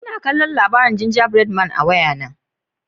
N'na kalla tatsuniyoyi labari'n ginja bread man a'waya na.